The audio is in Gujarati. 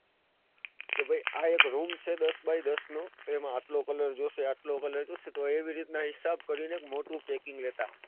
કે ભાઈ આ એક room છે દસ બાય દસ નો તો એમાં આટલો colour જોઈશે આટલો colour જોઈશે તો એવી રીતે હિસાબ કરીને એક મોટું packing લેતા.